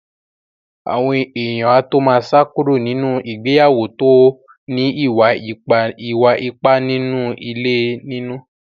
Àwọn èèyàn á tó má sá kúrò nínú ìgbéyàwó tó ní ìwà ipá nínú ilé nínú.